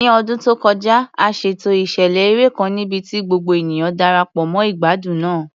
Ní ọdún tó kọjá, a ṣètò ìṣẹ̀lẹ̀ eré kan níbi tí gbogbo ènìyàn Darapọ̀ mọ́ ìgbádùn náà.